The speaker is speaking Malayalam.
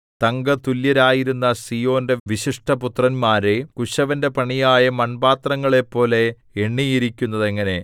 തങ്കതുല്യരായിരുന്ന സീയോന്റെ വിശിഷ്ടപുത്രന്മാരെ കുശവന്റെ പണിയായ മൺപാത്രങ്ങളെപ്പോലെ എണ്ണിയിരിക്കുന്നതെങ്ങനെ